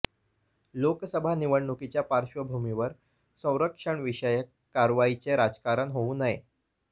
लोकसभा निवडणुकीच्या पार्श्वभूमीवर संरक्षणविषयक कारवाईचे राजकारण होऊ नये